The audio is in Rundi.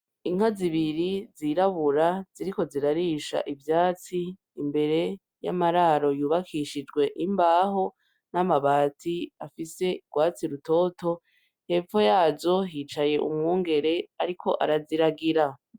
Inka zibiri zirabura ziriko zirarisha ivyatsi zir'imbere y'amararo yubakishijwe imbaho n'amabati afise urwatsi rutoto ,hepfo yazo hicaye umwungere ariko araziragira.